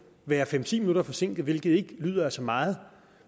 være fem ti minutter forsinket hvilket ikke lyder af så meget